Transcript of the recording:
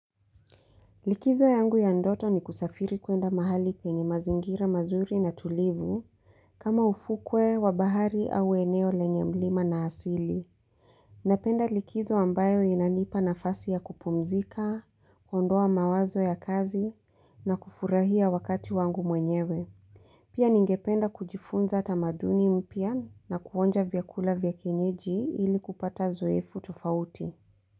Likizo yangu ya ndoto ni kusafiri kwenda mahali penye mazingira mazuri na tulivu kama ufukwe wa bahari au eneo lenye mlima na asili. Napenda likizo ambayo inanipa nafasi ya kupumzika, kuondoa mawazo ya kazi na kufurahia wakati wangu mwenyewe. Pia ningependa kujifunza tamaduni mpya na kuonja vyakula vya kienyeji ili kupata zoefu tufauti.